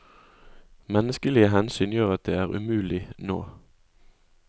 Menneskelige hensyn gjør at det er umulig nå.